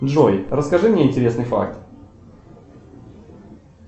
джой расскажи мне интересный факт